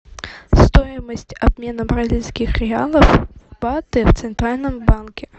стоимость обмена бразильских реалов в баты в центральном банке